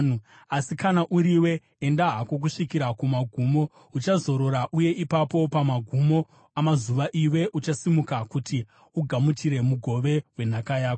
“Asi kana uriwe, enda hako kusvikira kumagumo. Uchazorora, uye ipapo pamagumo amazuva, iwe uchasimuka kuti ugamuchire mugove wenhaka yako.”